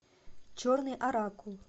черный оракул